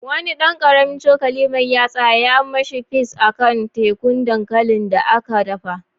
Wani dan karamin cokali mai yatsa ya mashi peas a kan tekun dankalin da aka daka.